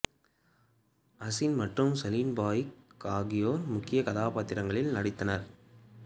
அசின் மற்றும் சலீம் பய்க் ஆகியோர் முக்கியக் கதாபாத்திரங்களில் நடித்தனர்